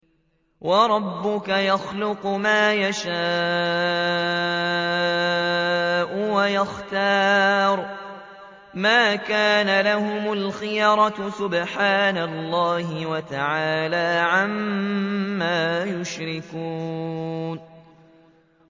وَرَبُّكَ يَخْلُقُ مَا يَشَاءُ وَيَخْتَارُ ۗ مَا كَانَ لَهُمُ الْخِيَرَةُ ۚ سُبْحَانَ اللَّهِ وَتَعَالَىٰ عَمَّا يُشْرِكُونَ